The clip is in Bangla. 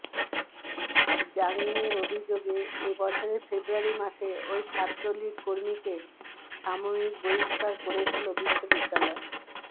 র্যাগিংয়ের অভিযোগে এ বছরের ফেব্রুয়ারি মাসে ওই ছাত্রলীগ কর্মীকে সাময়িক বহিষ্কার করেছিল বিশ্ববিদ্যালয়